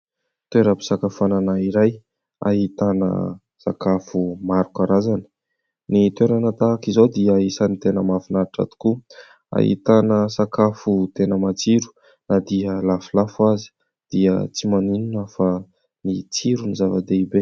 Toeram-pisakafoanana iray ahitana sakafo maro karazana. Ny toerana tahak'izao dia isan'ny tena mahafinaritra tokoa. Ahitana sakafo tena matsiro ; na dia lafolafo aza dia tsy maninona fa ny tsiro no zava-dehibe.